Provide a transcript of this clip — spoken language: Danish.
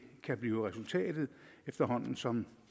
kan blive resultatet efterhånden som